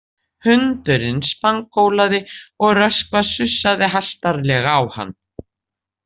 Hundurinn spangólaði og Röskva sussaði hastarlega á hann.